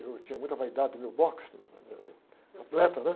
Eu tinha muita vaidade do meu boxe, atleta, né?